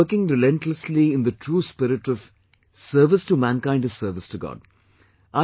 You are working relentlessly in the true spirit of 'Service to Mankind is service to God'